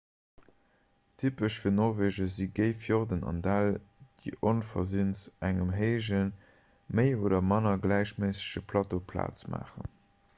typesch fir norwege si géi fjorden an däll déi onversinns engem héijen méi oder manner gläichméissege plateau plaz maachen